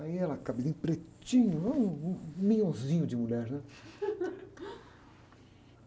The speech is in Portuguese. Aí ela, cabelinho pretinho, um, um minhonzinho de mulher, né?